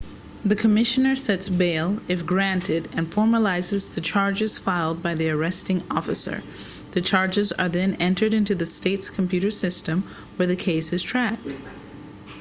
the commissioner sets bail if granted and formalizes the charges filed by the arresting officer the charges are then entered into the state's computer system where the case is tracked